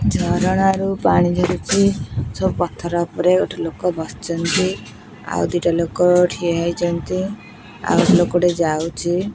ଝରଣା ରୁ ପାଣି ଝରୁଚି ସବୁ ପଥର ଉପରେ ଗୋଟେ ଲୋକ ବସିଚନ୍ତି ଆଉ ଦିଟା ଲୋକ ଠିଆ ହେଇଚନ୍ତି ଆଉ ଗୋଟେ ଲୋକ ଯାଉଚି।